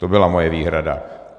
To byla moje výhrada.